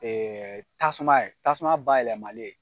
tasuma ye tasuma bayɛlɛmali ye.